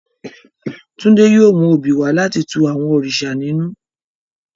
Tunde yóò mu obí wa lati tù àwọn òrìṣà ninù.